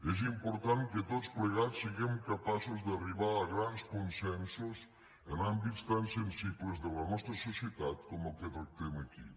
és important que tots plegats siguem capaços d’arribar a grans consensos en àmbits tan sensibles de la nostra societat com el que tractem aquí